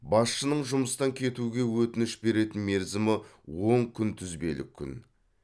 басшының жұмыстан кетуге өтініш беретін мерзімі он күнтізбелік күн